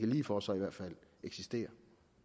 lige for så eksisterer